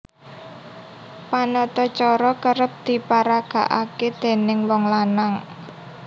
Panatacara kerep diparagakaké dèning wong lanang